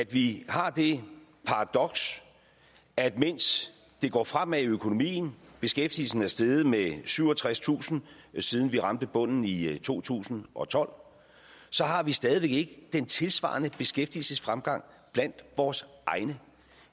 vi har det paradoks at mens det går fremad med økonomien beskæftigelsen er steget med syvogtredstusind siden vi ramte bunden i to tusind og tolv har vi stadig væk ikke den tilsvarende beskæftigelsesfremgang blandt vores egne